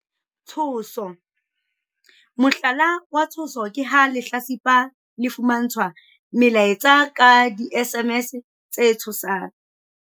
Tshoso- Mohlala wa tshoso ke ha lehlatsipa le fumantshwa melaetsa ka di-SMS tse tshosang.